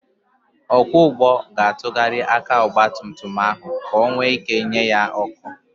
Ọkwọ ụgbọ ga-atụgharị aka ọgbatumtum ahụ ka onwe ị́ké nye ya ọ́kụ́.